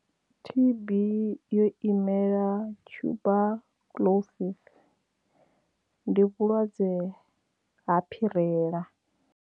T_B yo imela tuberculosis ndi vhulwadze ha phirela.